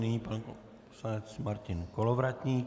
Nyní pan poslanec Martin Kolovratník.